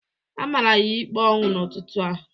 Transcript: A mara ya ikpe ọnwụ n'ụtụtụ a